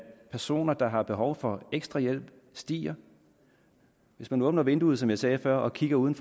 personer der har behov for ekstra hjælp stiger hvis man åbner vinduet som jeg sagde før og kigger ud